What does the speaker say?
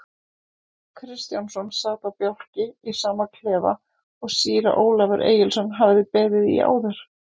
Kristjánsson sat á bálki í sama klefa og síra Ólafur Egilsson hafði beðið í áður.